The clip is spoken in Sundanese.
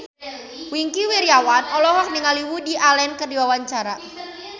Wingky Wiryawan olohok ningali Woody Allen keur diwawancara